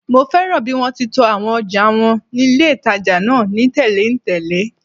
Mo fẹ́ràn bí wọ́n ti to àwọn ọjà wọn ní ilé-ìtàjà náà ni tẹ̀léǹtẹ̀lé